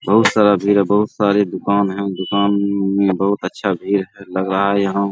बहुत सारा भीड़ है बहुत सारी दुकान है दुकान मे बहुत अच्छा भीड़ है लगा है यहाँ।